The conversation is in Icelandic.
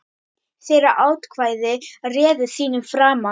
Þeirra atkvæði réðu þínum frama.